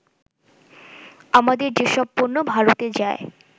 আমাদের যেসব পণ্য ভারতে যায়